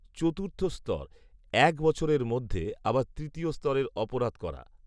চতুর্থ স্তর, এক বছরের মধ্যে আবার তৃতীয় স্তরের অপরাধ করা